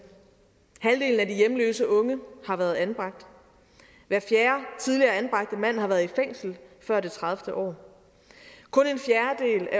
halvdelen af de hjemløse unge har været anbragt hver fjerde tidligere anbragte mand har været i fængsel før det tredivete år